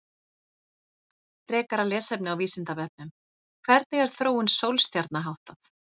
Frekara lesefni á Vísindavefnum: Hvernig er þróun sólstjarna háttað?